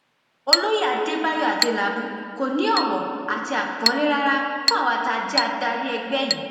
olóye adébáyò adélábù kò ní owó àti àpọnlé rárá fún àwa tá a jẹ adarí ẹgbẹ yìí